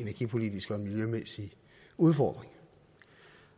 energipolitisk og miljømæssig udfordring